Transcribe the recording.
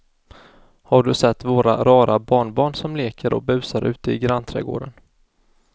Har du sett våra rara barnbarn som leker och busar ute i grannträdgården!